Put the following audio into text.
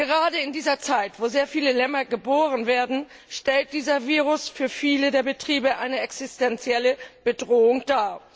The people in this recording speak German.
Gerade in dieser Zeit, wo sehr viele Lämmer geboren werden, stellt dieser Virus für viele der Betriebe eine existenzielle Bedrohung dar.